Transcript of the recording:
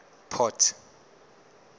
port